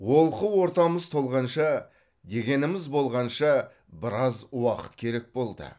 олқы ортамыз толғанша дегеніміз болғанша біраз уақыт керек болды